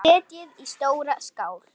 Setjið í stóra skál.